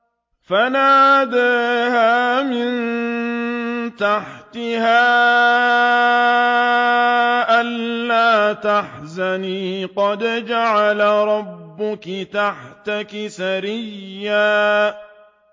فَنَادَاهَا مِن تَحْتِهَا أَلَّا تَحْزَنِي قَدْ جَعَلَ رَبُّكِ تَحْتَكِ سَرِيًّا